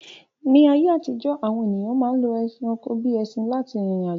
Ní ayé àtijọ́, àwọn èyàn ma ń lo ẹranko bíi ẹṣin lá ti rìrìn àjò.